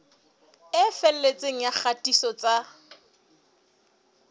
e felletseng ya kgatiso tsa